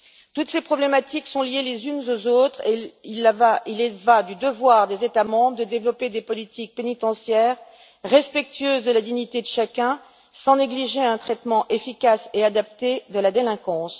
Toutes ces problématiques sont liées les unes aux autres, et il en va du devoir des États membres de développer des politiques pénitentiaires respectueuses de la dignité de chacun sans négliger un traitement efficace et adapté de la délinquance.